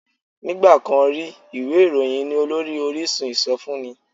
Nígbà kan rí, ìwé ìròyìn ni olórí orísun ìsọfúnni